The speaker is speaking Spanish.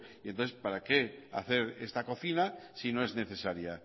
y entonces para qué hacer esta cocina si no es necesaria